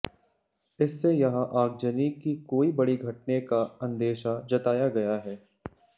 इससे यहां आगजनी की कोई बड़ी घटने का अंदेशा जताया गया है